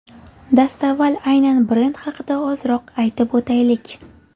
Dastavval aynan brend haqida ozroq aytib o‘taylik.